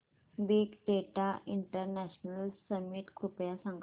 big data international summit कृपया सांगा